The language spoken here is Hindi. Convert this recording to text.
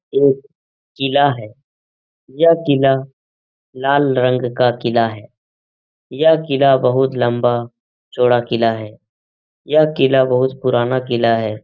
एक किला है। यह किला लाल रंग का किला है। यह किला बोहोत लम्बा चौड़ा किला है। यह किला बोहोत पुराना किला है।